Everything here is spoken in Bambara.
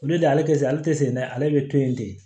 Olu de ale tɛ se ale tɛ se dɛ ale bɛ to yen de